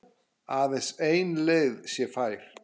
Aðeins ein leið sé fær.